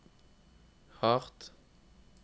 hardt